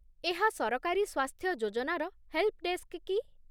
ଏହା ସରକାରୀ ସ୍ୱାସ୍ଥ୍ୟ ଯୋଜନାର ହେଲ୍ପଡେସ୍କ କି?